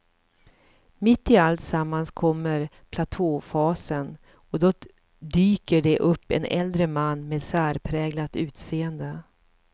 Mitt i alltsammans kommer platåfasen och då dyker det upp en äldre man med särpräglat utseende.